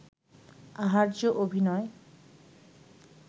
আহার্য অভিনয়